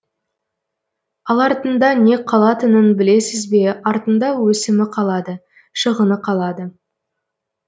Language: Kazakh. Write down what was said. ал артында не қалатынын білесіз бе артында өсімі қалады шығыны қалады